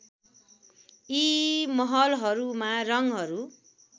यी महलहरूमा रङहरू